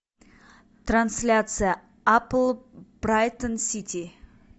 трансляция апл брайтон сити